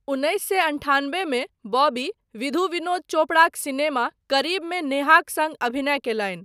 उन्नैस सए अन्ठान्बेमे बॉबी विधु विनोद चोपड़ाक सिनेमा 'करीब'मे नेहाक सङ्ग अभिनय कयलनि।